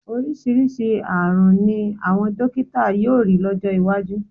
Oríṣiríṣi ààrùn ni àwọn dọ́kítà yóò rí lọ́jọ́ iwájú.